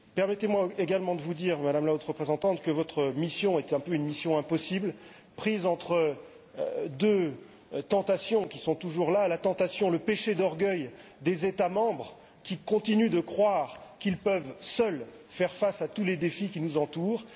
Permettez moi également de vous dire, Madame la Haute Représentante, que votre mission est un peu une mission impossible, prise entre deux tentations qui sont toujours présentes d'une part, le péché d'orgueil des États membres, qui continuent de croire qu'ils peuvent, seuls, faire face à tous les défis qui nous entourent